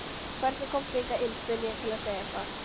Hvernig komstu hingað inn? spurði ég til að segja eitthvað.